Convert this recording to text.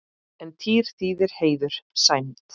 En tír þýðir heiður, sæmd.